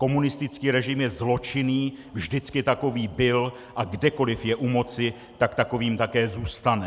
Komunistický režim je zločinný, vždycky takový byl, a kdekoliv je u moci, tak takovým také zůstane.